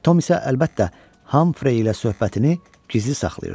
Tom isə əlbəttə, Hamfrey ilə söhbətini gizli saxlayırdı.